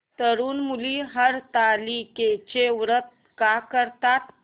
तरुण मुली हरतालिकेचं व्रत का करतात